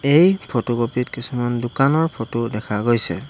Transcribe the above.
এই ফটোকপি ত কিছুমান দোকানৰ ফটো দেখা গৈছে।